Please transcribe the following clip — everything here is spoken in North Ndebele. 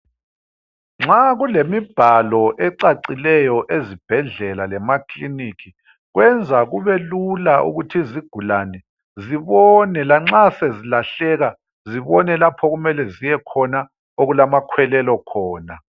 Nxa kulemibhalo ecacileyo ezibhedlela lemaclinika kwenza kubelula ukuthi izigulane zibone lanxa sezilahleka zibone lapho okumele ziyekhona okulamakhwelelo khona.